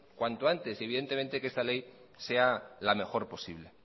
cuanto antes evidentemente que esta ley sea la mejor posible